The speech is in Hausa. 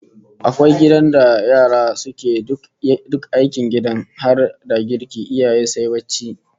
Akwai gidan da yara suke duk aikin gidan har da girki, iyayen sai barci